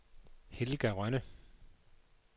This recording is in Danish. Helga Rønne